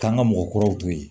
K'an ka mɔgɔkɔrɔw to yen